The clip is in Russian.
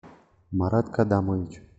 марат кадамович